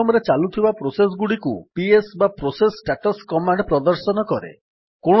system ରେ ଚାଲୁଥିବା process ଗୁଡ଼ିକୁ ପିଏସ୍ ବା ପ୍ରୋସେସ୍ ଷ୍ଟାଟସ୍ କମାଣ୍ଡ୍ ପ୍ରଦର୍ଶନ କରେ